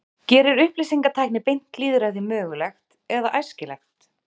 Gerir upplýsingatækni beint lýðræði mögulegt eða æskilegt?